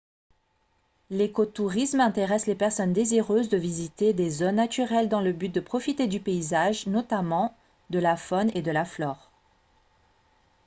l'écotourisme intéresse les personnes désireuses de visiter des zones naturelles dans le but de profiter du paysage notamment de la faune et de la flore